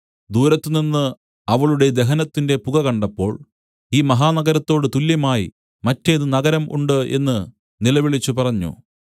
ദൂരത്തുനിന്ന് അവളുടെ ദഹനത്തിന്റെ പുക കണ്ടപ്പോൾ ഈ മഹാനഗരത്തോട് തുല്യമായി മറ്റേത് നഗരം ഉണ്ട് എന്ന് നിലവിളിച്ചുപറഞ്ഞു